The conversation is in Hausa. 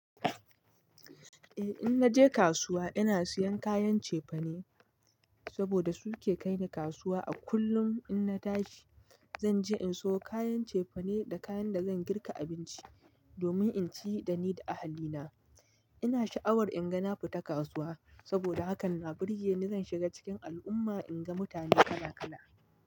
Eh, in naje kasuwa ina siyan kayan cefane saboda su ke kai ni kasuwa. A kullum in na tashi zan je in siyo kayan cefane da kayan da zan girka abinci domin in ci da ni da ahalina. Ina sha'awar in ga na fita kasuwa saboda haka na burge ni zan shiga cikin al'umma in ga mutane kala kala.